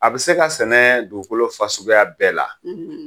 A bi se ka sɛnɛ dugukolo fasuguya bɛɛ la